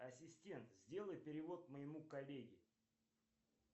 ассистент сделай перевод моему коллеге